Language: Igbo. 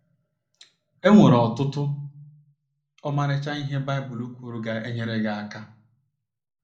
E nwere ọtụtụ ọmarịcha ihe Baịbụl kwuru ga - enyere anyị aka.